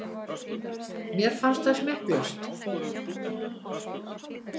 Mér fannst það smekklaust.